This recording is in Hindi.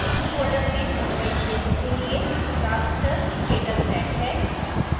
इस फोल्डर में mumbai क्षेत्र के लिए raster dataset है